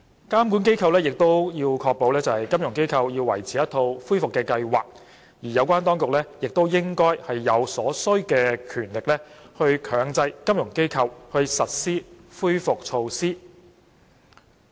監管機構應確保金融機構維持一套恢復計劃，而有關當局亦應有所需權力以強制金融機構實施恢復措施。